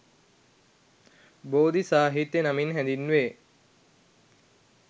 බෝධි සාහිත්‍ය නමින් හැඳින්වේ